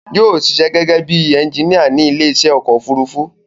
Yóò ṣiṣẹ́ gẹ́gẹ́bí ẹnginíà ní ilé iṣẹ́ ọkọ̀ òfurufú